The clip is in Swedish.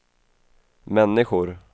människor